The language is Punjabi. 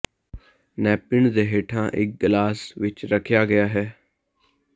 ਨੈਪਿਨ ਦੇ ਹੇਠਾਂ ਇਕ ਗਲਾਸ ਵਿੱਚ ਰੱਖਿਆ ਗਿਆ ਹੈ